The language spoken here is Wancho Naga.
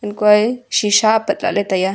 hankuae shisha apat lahley taiya.